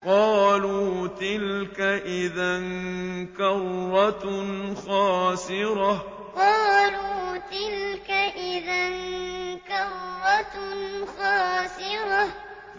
قَالُوا تِلْكَ إِذًا كَرَّةٌ خَاسِرَةٌ قَالُوا تِلْكَ إِذًا كَرَّةٌ خَاسِرَةٌ